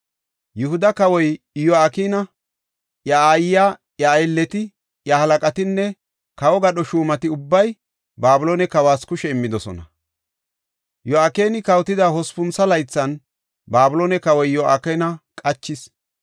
Yihuda kawoy Iyo7akina, iya aayiya, iya aylleti, iya halaqatinne kawo gadho shuumati ubbay Babiloone kawas kushe immidosona. Yo7akini kawotida hospuntho laythan, Babiloone kawoy Yo7akina qachis.